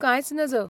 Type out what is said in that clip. कांयच नज .